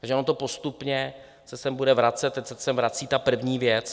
Takže ono to postupně se sem bude vracet, teď se sem vrací ta první věc.